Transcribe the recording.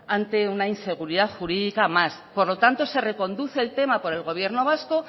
ante una inseguridad jurídica más por lo tanto re reconduce el tema por el gobierno vasco